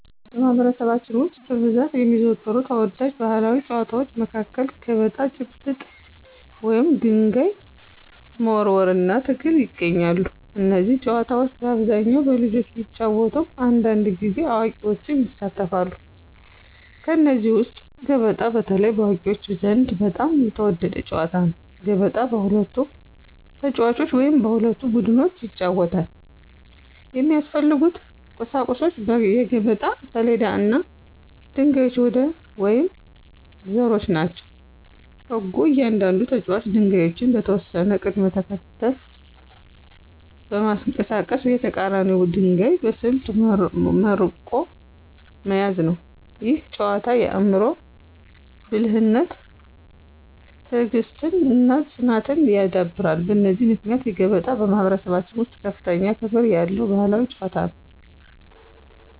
በማኅበረሰባችን ውስጥ በብዛት የሚዘወተሩ ተወዳጅ ባሕላዊ ጨዋታዎች መካከል ገበጣ፣ ጭብጥ (ድንጋይ መወርወር) እና ትግል ይገኛሉ። እነዚህ ጨዋታዎች በአብዛኛው በልጆች ቢጫወቱም አንዳንድ ጊዜ አዋቂዎችም ይሳተፋሉ። ከእነዚህ ውስጥ ገበጣ በተለይ በአዋቂዎች ዘንድ በጣም የተወደደ ጨዋታ ነው። ገበጣ በሁለት ተጫዋቾች ወይም በሁለት ቡድኖች ይጫወታል። የሚያስፈልጉት ቁሳቁሶች የገበጣ ሰሌዳ እና ድንጋዮች ወይም ዘሮች ናቸው። ሕጉ እያንዳንዱ ተጫዋች ድንጋዮቹን በተወሰነ ቅደም ተከተል በማንቀሳቀስ የተቀራኒውን ድንጋይ በስልት መርቆ መያዝ ነው። ይህ ጨዋታ የአእምሮ ብልሃትን፣ ትዕግሥትን እና ፅናትን ያዳብራል። በዚህ ምክንያት ገበጣ በማኅበረሰባችን ውስጥ ከፍተኛ ክብር ያለው ባሕላዊ ጨዋታ ነው።